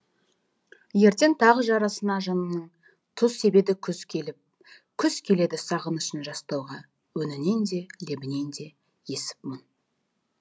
ертең тағы жарасына жанымның тұз себеді күз келіп күз келеді сағынышын жастауға өңінен де лебінен де есіп мұң